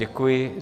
Děkuji.